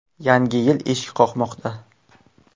Yangi yil eshik qoqmoqda!